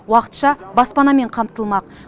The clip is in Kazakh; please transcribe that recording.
уақытша баспанамен қамтылмақ